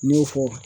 N y'o fɔ